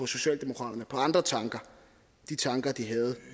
socialdemokratiet på andre tanker de tanker de havde